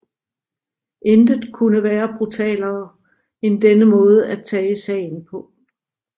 Intet kunne være brutalere end denne måde at tage sagen på